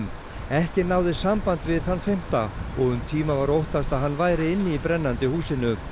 ekki náðist samband við þann fimmta og um tíma var óttast að hann væri inni í brennandi húsinu